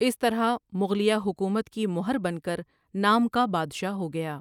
اس طرح مغلیہ حکومت کی مہر بن کر نام کا بادشاہ ہو گیا ۔